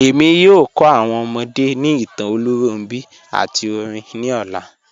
Ẹ̀mi yóò kọ́ awọn ọmọdé ni ìtàn Olúnrọ̀nbi àti orin ni ọlá.